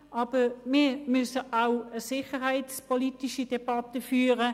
Aber wir müssen auch eine sicherheitspolitische Debatte führen.